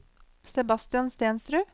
Sebastian Stensrud